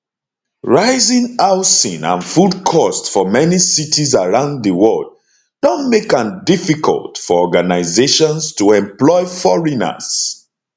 rising housing and food cost for many cities around di world don make am difficult for organizations to employ foreigners